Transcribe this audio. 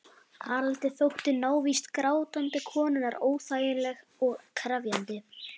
Haraldi þótti návist grátandi konunnar óþægileg og krefjandi.